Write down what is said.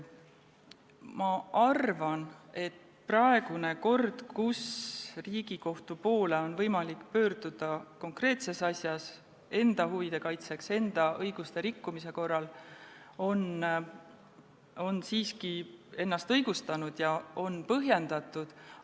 Ma arvan, et praegune kord, kus Riigikohtu poole on võimalik pöörduda konkreetses asjas enda huvide kaitseks, enda õiguste rikkumise korral, on siiski ennast õigustanud ja on põhjendatud.